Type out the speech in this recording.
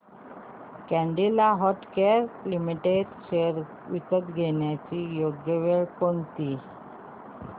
Cadila healthcare limited shares विकण्याची योग्य वेळ कोणती